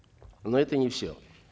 но это не все